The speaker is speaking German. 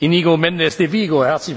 Iñigo Mendez de Vigo.